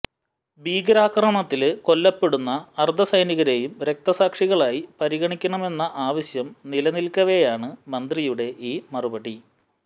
ഭീകരാക്രമണത്തില് കൊല്ലപ്പെടുന്ന അര്ധസൈനികരേയും രക്തസാക്ഷികളായി പരിഗണിക്കണമെന്ന ആവശ്യം നിലനില്ക്കവേയാണ് മന്ത്രിയുടെ ഈ മറുപടി